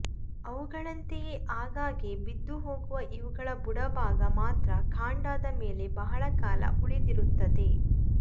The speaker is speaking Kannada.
ಅವುಗಳಂತೆಯೆ ಆಗಾಗ್ಗೆ ಬಿದ್ದುಹೋಗುವ ಇವುಗಳ ಬುಡಭಾಗ ಮಾತ್ರ ಕಾಂಡದ ಮೇಲೆ ಬಹಳ ಕಾಲ ಉಳಿದಿರುತ್ತದೆ